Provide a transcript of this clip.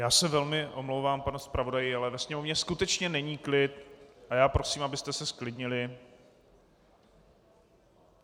Já se velmi omlouvám, pane zpravodaji, ale ve sněmovně skutečně není klid a já prosím, abyste se zklidnili.